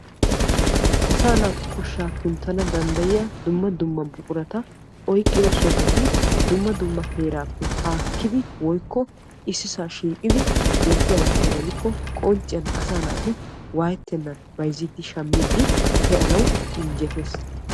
Asaa naatu koshsha kunttana danddayiya dumma dumma buqurata oyqqida sohoti dumma dumma heerappe haakkidi woykko ississa shiiqidi beettiyaaba gidikkko asaa naati woyetennan bayzziidi shammiidi pe'anaw injjettes.